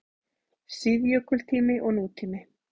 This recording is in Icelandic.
SÍÐJÖKULTÍMI OG NÚTÍMI